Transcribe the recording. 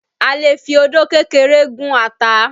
A lè fi odó kékeré gún ata